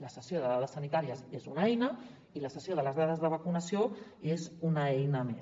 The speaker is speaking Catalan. la cessió de dades sanitàries és una eina i la cessió de les dades de vacunació és una eina més